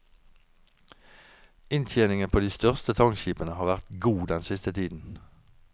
Inntjeningen på de største tankskipene har vært god den siste tiden.